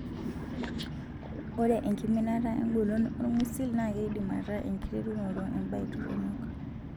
Ore enkiminata engolon olng'usil naaa keidim ataa enkiterunoto embae toronok.